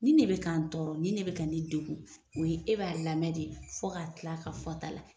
Ni de bɛ kɛ ka n tɔɔrɔ, ni de bɛ ka ne degun, o ye e b'a lamɛn de fɔ ka til'a ka fɔta la .